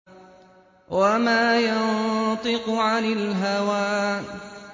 وَمَا يَنطِقُ عَنِ الْهَوَىٰ